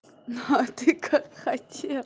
ну а ты как хотел